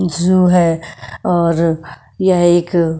झू है और यह एक--